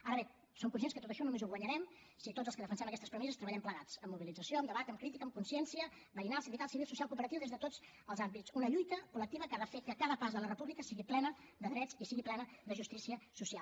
ara bé som conscients que tot això només ho guanyarem si tots els que defensem aquestes premisses treballem plegats amb mobilització amb debat amb crítica amb consciència veïnal sindical civil social cooperativa des de tots els àmbits una lluita col·lectiva que ha de fer que a cada pas la república sigui plena de drets i sigui plena de justícia social